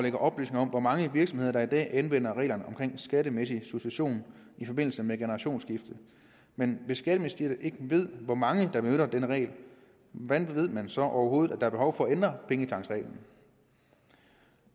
ikke oplysninger om hvor mange virksomheder der i dag anvender reglerne om skattemæssig succession i forbindelse med generationsskifte men hvis skatteministeriet ikke ved hvor mange der benytter denne regel hvordan ved man så at der overhovedet er behov for at ændre pengetanksreglen